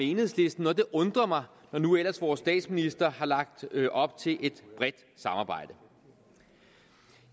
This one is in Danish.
enhedslisten og det undrer mig når nu ellers vores statsminister har lagt op til et bredt samarbejde